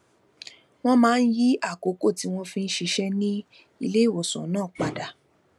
wón máa ń yí àkókò tí wón fi ń ṣiṣé ní iléìwòsàn náà padà